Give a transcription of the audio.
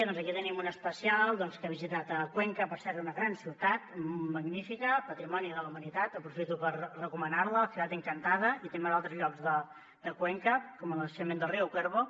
doncs aquí tenim un especial doncs que ha visitat cuenca per cert una gran ciutat magnífica patrimoni de la humanitat aprofito per recomanar la la ciudad encantada i també d’altres llocs de cuenca com el naixement del riu cuervo